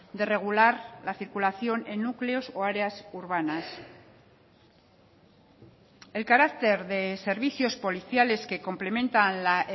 de regular la circulación en núcleos o áreas urbanas el carácter de servicios policiales que complementa la